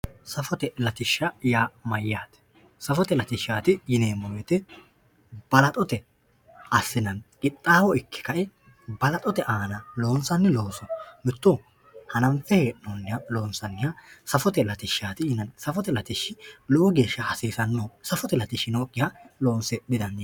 safote latishsha yaa mayaate safote latishshaati yineemo woyiite balaxote assinanni qixaawwo ikke ka"e balaxote aana loonsanni looso mitto hananfe he'nooniha loonsaniha safote latishshaati yinanni safote latishshi lowo geesha hasisanno safote latishshi nookihano loonse didandiinanni.